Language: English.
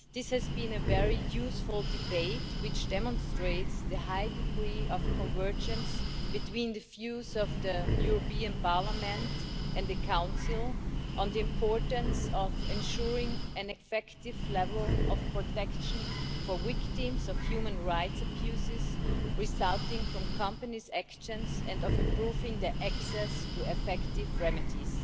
This has been a very useful debate, which demonstrates the high degree of convergence between the views of Parliament and of the Council on the importance of ensuring an effective level of protection for victims of human rights abuses resulting from companies' actions, and of improving their access to effective remedies.